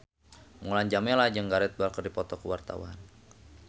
Mulan Jameela jeung Gareth Bale keur dipoto ku wartawan